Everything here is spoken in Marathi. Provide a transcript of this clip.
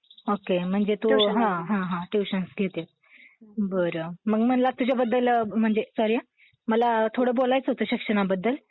ओके म्हणजे हा, हा. तू ट्युशन्स घेते. बरं, मग मला तुझ्याबद्दल म्हणजे सॉरी हा. मला थोडं बोलायचं होतं शिक्षणाबद्दल.